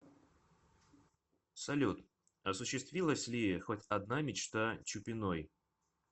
салют осущиствилась ли хоть одна мечта чупиной